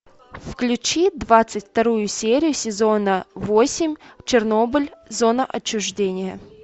включи двадцать вторую серию сезона восемь чернобыль зона отчуждения